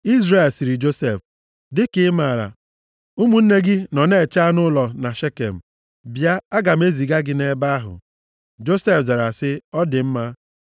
Izrel sịrị Josef, “Dịka ị maara, ụmụnne gị nọ na-eche anụ ụlọ na Shekem. Bịa, aga m eziga gị nʼebe ahụ.” Josef zara sị, “Ọ dị mma.”